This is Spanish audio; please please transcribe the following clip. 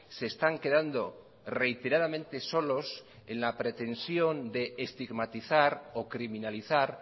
se están quedando reiteradamente solos en la pretensión de estigmatizar o criminalizar